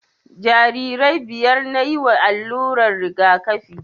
Jarirai biyar nayi wa allurar rigakafi